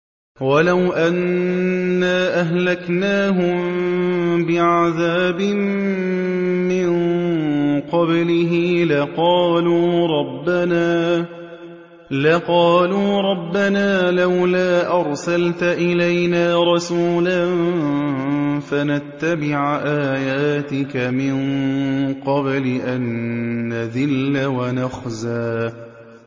وَلَوْ أَنَّا أَهْلَكْنَاهُم بِعَذَابٍ مِّن قَبْلِهِ لَقَالُوا رَبَّنَا لَوْلَا أَرْسَلْتَ إِلَيْنَا رَسُولًا فَنَتَّبِعَ آيَاتِكَ مِن قَبْلِ أَن نَّذِلَّ وَنَخْزَىٰ